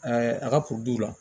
a ka la